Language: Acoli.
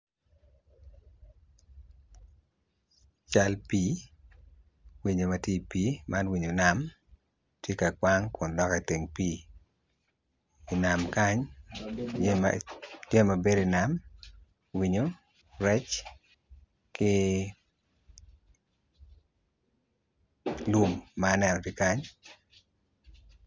Cal pii winyo ma tye i pii man winyo nam kwang kun dok i teng pii tye i dog pii nam yeya tye mapol i nam acel tye i nam i ngeye pol nen lum ma aneno tye kany.